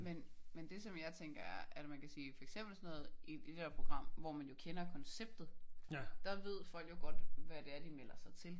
Men men det som jeg tænker er at man kan sige for eksempel sådan noget i i det program hvor man jo kender konceptet der ved folk jo godt hvad det er de melder sig til